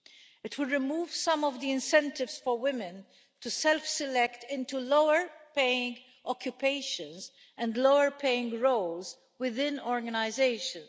It will remove some of the incentives for women to self select into lower paying occupations and lower paying roles within organisations.